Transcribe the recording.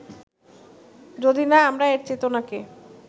যদি না আমরা এর চেতনাকে